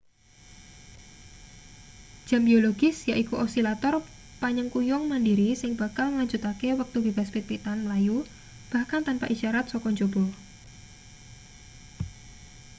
jam biologis yaiku osilator panyengkuyung mandhiri sing bakal nglanjutake wektu bebas-pit-pitan mlayu bahkan tanpa isyarat saka njaba